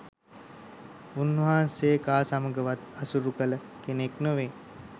උන්වහන්සේ කා සමඟවත් ඇසුරු කළ කෙනෙක් නෙවෙයි